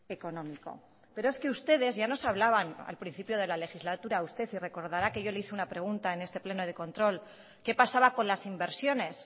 económico pero es que ustedes ya nos hablaban al principio de la legislatura usted y recordará que yo le hice una pregunta en este pleno de control qué pasaba con las inversiones